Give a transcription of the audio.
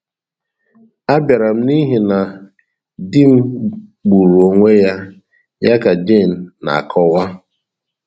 Abịara m n’ihi na di m gburu onwe ya, ” ya ka Jane na - akọwa.